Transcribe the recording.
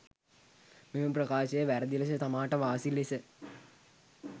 මෙම ප්‍රකාශය වැරැදි ලෙස තමාට වාසි ලෙස